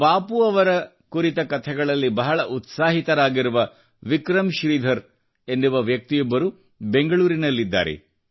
ಬಾಪೂರವರ ಕುರಿತ ಕತೆಗಳಲ್ಲಿ ಬಹಳ ಉತ್ಸಾಹಿತರಾಗಿರುವ ವಿಕ್ರಮ್ ಶ್ರೀಧರ್ ಎನ್ನುವ ವ್ಯಕ್ತಿಯೊಬ್ಬರು ಬೆಂಗಳೂರಿನಲ್ಲಿದ್ದಾರೆ